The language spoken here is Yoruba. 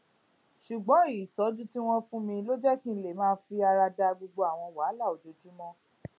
ṣùgbón ìtójú tí wón fún mi ló jé kí n lè máa fara da gbogbo àwọn wàhálà ojoojúmó